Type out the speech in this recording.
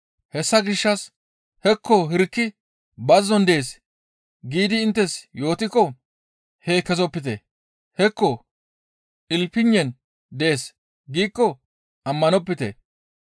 Hessa gishshas, ‹Hekko hirki bazzon dees› giidi inttes yootikko hee kezopite; ‹Hekko ilpinnen dees› giikko ammanopite.